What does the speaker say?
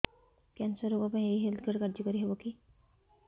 cancer ରୋଗ ପାଇଁ ଏଇ ହେଲ୍ଥ କାର୍ଡ କାର୍ଯ୍ୟକାରି ହେବ କି